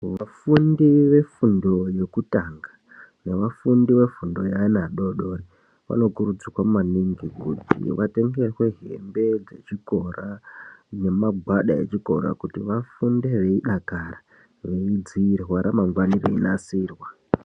Vafundi vefundo yekutanga nevafundi vefundo yevana vadodori vanokurudzirwa maningi kuti vatengerwe hembe dzechikora. Nemagwada echikora kuti vafunde veidakara veidzirwa remangwana reinasirwa.